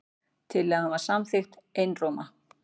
Tillagan var samþykkt einróma.